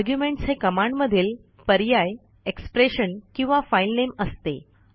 arguments हे कमांडमधील पर्याय एक्सप्रेशन किंवा फाइलनेम असते